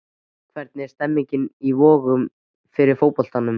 Hvernig er stemningin í Vogum fyrir fótboltanum?